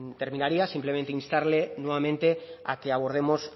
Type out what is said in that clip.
terminaría siempre instarle nuevamente a que abordemos